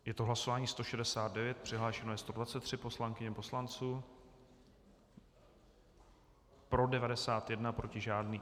Je to hlasování 169, přihlášeno je 123 poslankyň a poslanců, pro 91, proti žádný.